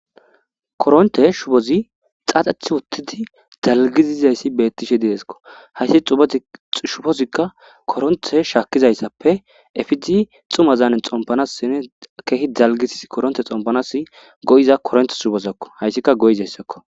Koronte shubozi xaaxathi wottidi dalgiziizayssi bettishe deeskko hayssi shufozikka koronthe shaakkizayssappe efizi xuma zaane xompanasinne kehi dalgisis koronte xompanas go7iza koronte subosakko hayssika goyizayssakko